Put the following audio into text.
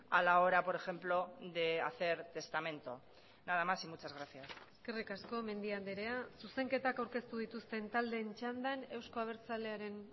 a la hora por ejemplo de hacer testamento nada más y muchas gracias eskerrik asko mendia andrea zuzenketak aurkeztu dituzten taldeen txandan euzko abertsalearen